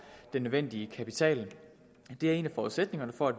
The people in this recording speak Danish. den nødvendige kapital det er en af forudsætningerne for at